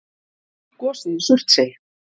Gosið í Surtsey.